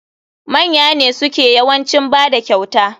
Manya ne suke yawancin bada kyauta.